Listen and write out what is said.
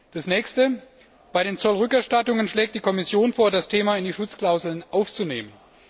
Der nächste Punkt Bei den Zollrückerstattungen schlägt die Kommission vor, das Thema in die Schutzklauseln aufzunehmen.